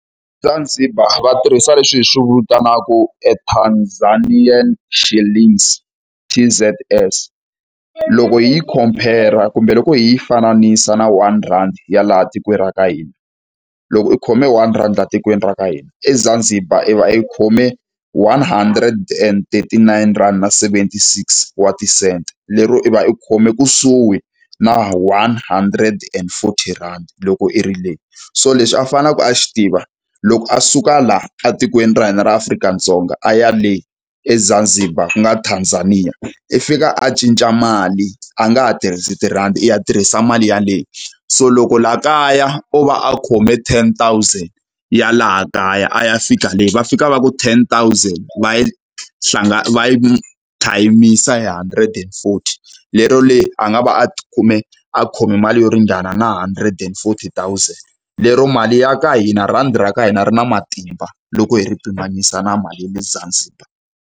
Zanzibar va tirhisa leswi hi swi vitanaku e Tanzanian shillings, T_Z_S. Loko hi yi khompera kumbe loko hi fananisa na one rhandi ya laha tikweni ra ka hina. Loko i khome one rhandi a tikweni ra ka hina, eZanzibar i va i khome one hundred and thirty nine rand na seventy-six wa ti-cent. Lero i va i khome kusuhi na one hundred and forty rhandi loko i ri le. So leswi a faneleke a xi tiva, loko a suka laha etikweni ra hina ra Afrika-Dzonga a ya le eZanzibar ku nga Tanzania, i fika a cinca mali a nga ha tirhisi tirhandi i ya tirhisa mali yaleyo. So loko laha kaya o va a khome ten thousand ya laha kaya a ya fika le, va fika va ku ten thousand va va yi thayimisa hundred and forty. Lero le a nga va a tikume a khome mali yo ringana na hundred and forty thousand. Lero mali ya ka hina rhandi ra ka hina ri na matimba, loko hi ri pimanisa na mali le Zanzibar.